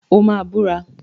O máa búra.